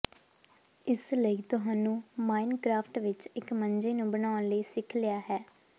ਇਸ ਲਈ ਤੁਹਾਨੂੰ ਮਾਇਨਕਰਾਫਟ ਵਿੱਚ ਇੱਕ ਮੰਜੇ ਨੂੰ ਬਣਾਉਣ ਲਈ ਸਿੱਖ ਲਿਆ ਹੈ